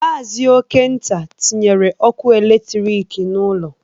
Maazi Okenta tinyere ọkụ eletrik n'ụlọ